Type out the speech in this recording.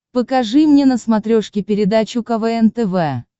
покажи мне на смотрешке передачу квн тв